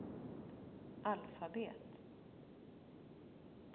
alfabet